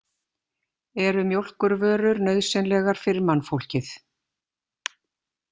Eru mjólkurvörur nauðsynlegar fyrir mannfólkið.